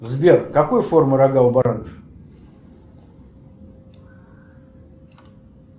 сбер какой формы рога у баранов